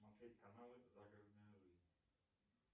смотреть каналы загородная жизнь